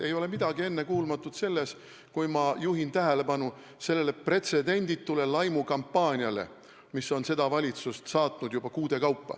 Ei ole midagi ennekuulmatut selles, kui ma juhin tähelepanu pretsedenditule laimukampaaniale, mis on seda valitsust saatnud juba kuude kaupa.